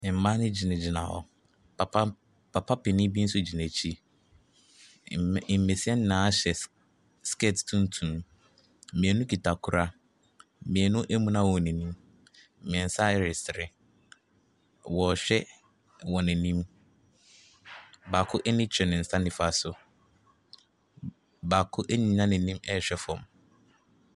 Mmaa no gyinagyina hɔ, papa m papa panin bi nso gyina akyi. Mb mbasia nyina hyɛ skirt tuntum, mmienu kita kora, mmienu amuna wɔn anim, mmiɛnsa ɛresere. Wɔrehwɛ wɔn anim, baako ani kyerɛ ne nsa nifa so, baako anyina n’ani ɛrehwɛ fam.